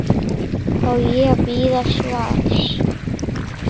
Á ég að bíða svars?